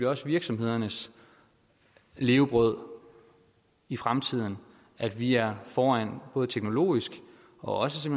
også virksomhedernes levebrød i fremtiden at vi er foran både teknologisk og også